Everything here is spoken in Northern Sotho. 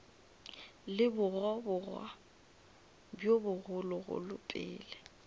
le bogoboga bjo bogologolo pele